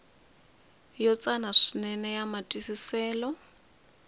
yo tsana swinene ya matwisiselo